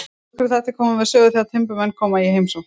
Nokkrir þættir koma við sögu þegar timburmenn koma í heimsókn.